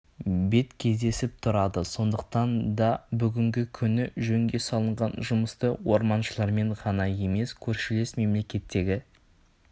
бет кездесіп тұрады сондықтан да бүгінгі күні жөнге салынған жұмысты орманшылармен ғана емес көршілес мемлекеттегі